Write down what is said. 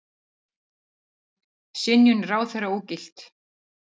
Synjun ráðherra ógilt